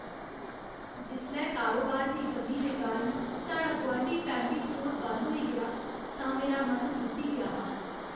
जिसलै कारोबार दी कमी दे कारण साढ़ा गुआंढी फैमली स्टोर बंद होई गेआ तां मेरा मन त्रुट्टी गेआ हा।